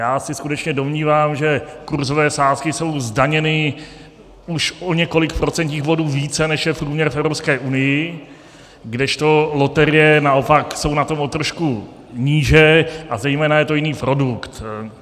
Já se skutečně domnívám, že kurzové sázky jsou zdaněny už o několik procentních bodů více, než je průměr v Evropské unii, kdežto loterie naopak jsou na tom o trošku níže, a zejména je to jiný produkt.